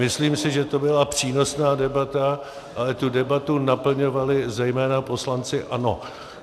Myslím si, že to byla přínosná debata, ale tu debatu naplňovali zejména poslanci ANO.